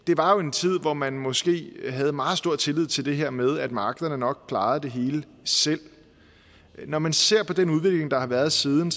det var jo en tid hvor man måske havde meget stor tillid til det her med at markederne nok klarede det hele selv når man ser på den udvikling der har været siden